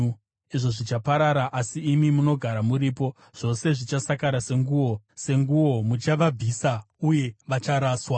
Izvo zvichaparara, asi imi munogara muripo; zvose zvichasakara senguo. Senguo muchavabvisa uye vacharaswa.